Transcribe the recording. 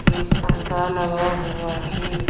एक पर्दा लगा हुआ है।